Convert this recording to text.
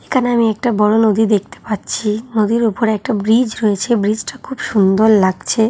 এখানে আমি একটা বড় নদী দেখতে পাচ্ছি-ই। নদীর উপর একটা ব্রিজ হয়েছে ব্রিজ টা খুব সুন্দর লাগছে--